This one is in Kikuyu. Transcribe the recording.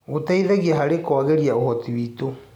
Gĩteithagia harĩ kũagĩrithia ũhoti witũ.